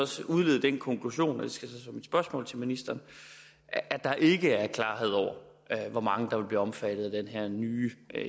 så udlede den konklusion og det skal mit spørgsmål til ministeren at der ikke er klarhed over hvor mange der vil blive omfattet af den her nye